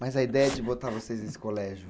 Mas a ideia de botar vocês nesse colégio?